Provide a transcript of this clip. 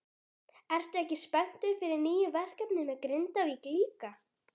Ertu ekki spenntur fyrir nýju verkefni með Grindavík líka?